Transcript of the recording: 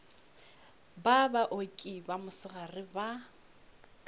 ba baoki ba mosegare ba